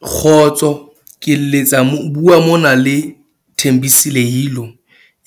Kgotso ke letsa mo bua mona le Thembisile Yilo,